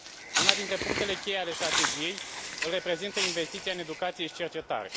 Unul dintre punctele cheie ale Strategiei îl reprezintă investiția în educație și cercetare.